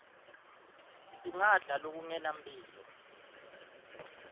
singadla lokungenampilo